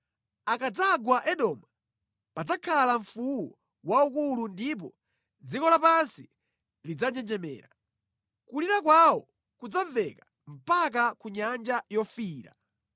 Akadzagwa Edomu padzakhala mfuwu waukulu ndipo dziko lapansi lidzanjenjemera; kulira kwawo kudzamveka mpaka ku Nyanja Yofiira.